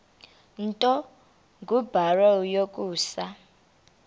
nto kubarrow yokusa